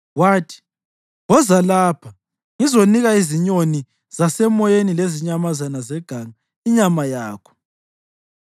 Wathi, “Woza lapha, ngizanika izinyoni zasemoyeni lezinyamazana zeganga inyama yakho!”